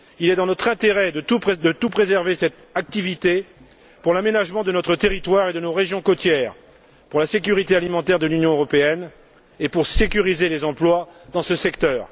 Il est dans notre intérêt de préserver cette activité pour l'aménagement de notre territoire et de nos régions côtières, pour la sécurité alimentaire de l'Union européenne et pour sécuriser les emplois dans ce secteur.